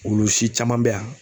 Wulusi caman bɛ yan.